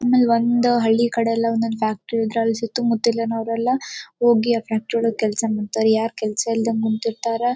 ಆಮೇಲ್ ಒಂದ್ ಹಳ್ಳಿ ಕಡೆಯಲ್ ಒಂದೊಂದ್ ಫ್ಯಾಕ್ಟರಿ ಇದ್ರ್ ಅಲ್ ಸುತ್ತ ಮುತ್ತಲಿನ ಅವ್ರೆಲ್ಲ ಹೋಗಿ ಫ್ಯಾಕ್ಟರಿ ಒಳಗ ಕೆಲಸ ಮಾಡ್ತರ್ ಯಾರ್ ಕೆಲಸ ಇಲ್ದೆ ಕುಂತಿರ್ತಾರ್.